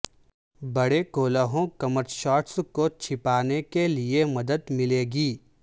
بڑے کولہوں کمر شارٹس کو چھپانے کے لئے مدد ملے گی